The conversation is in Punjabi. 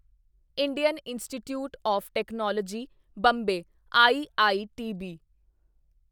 Indian Institute of Technology Bombay IITB